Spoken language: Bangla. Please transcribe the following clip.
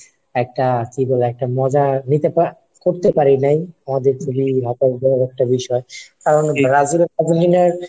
একটা কি বলে একটা মজা নি করতে পারি নাই। আমাদের খুবই হতাশজনক একটা বিষয়, কারণ ব্রাজিল আর ,